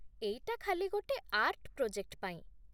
ଏଇଟା ଖାଲି ଗୋଟେ ଆର୍ଟ ପ୍ରୋଜେକ୍ଟ ପାଇଁ ।